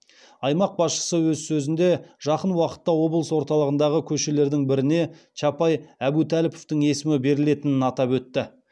аймақ басшысы өз сөзінде жақын уақытта облыс орталығындағы көшелердің біріне чапай әбутәліповтың есімі берілетінін атап өтті